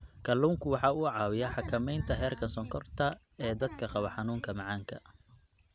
Kalluunku waxa uu caawiyaa xakamaynta heerka sonkorta ee dadka qaba xanuunka macaanka.